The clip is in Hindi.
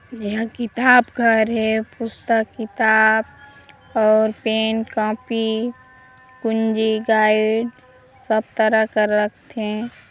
ए हा किताब घर हे पुस्तक किताब और पेन कॉपी कुंजी गाइड सब तरह का रखथे।